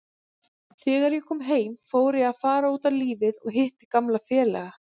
Þegar ég kom heim fór ég að fara út á lífið og hitti gamla félaga.